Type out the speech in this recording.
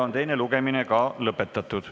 Teine lugemine on lõpetatud.